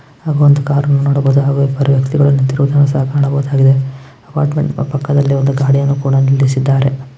ಸಹ ಕಾಣಬಹುದಾಗಿದೆ ಅಪ್ಪಾರ್ಟ್ಮೆಂಟ್ ಪಕ್ಕದಲ್ಲಿ ಒಂದು ಗಾಡಿಯನ್ನು ಸಹ ನಿಲ್ಲಿಸಿದ್ದಾರೆ.